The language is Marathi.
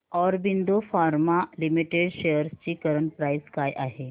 ऑरबिंदो फार्मा लिमिटेड शेअर्स ची करंट प्राइस काय आहे